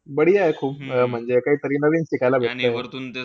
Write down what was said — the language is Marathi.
आहे खूप. म्हणजे काहीतरी नवीन शिकायला भेटतंय.